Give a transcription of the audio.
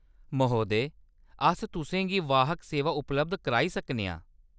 महोदय, अस तु'सें गी वाहक सेवां उपलब्ध कराई सकने आं।